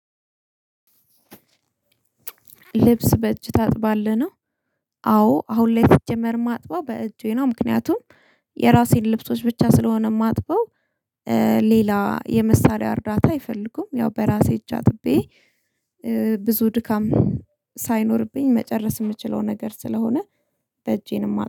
ልብስ በእጅ ታጥባለህ ነው? አዎ አሁን ላይ ሲጀመር ማጥባው በእጄ ነው ምክንያቱም የራሴን ልብሶች ብቻ ስለሆነ ማጥበው። ሌላ የመሳሪያ እርዳታ አይፈልጉም ያው በራሴ እጅ አጥቤ። ብዙ ድካም ሳይኖርብኝ መጨረስ የምችለው ነገር ስለሆነ። በእጄ ነው ማጥ